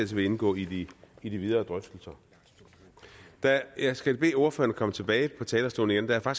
vil indgå i i de videre drøftelser jeg skal bede ordføreren komme tilbage på talerstolen der er